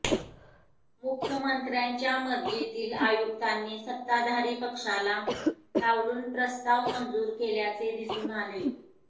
मुख्यमंत्र्याच्या मर्जीतील आयुक्तांनी सत्ताधारी पक्षाला डावलून प्रस्ताव मंजूर केल्याचे दिसून आले